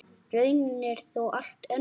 Raunin er þó allt önnur.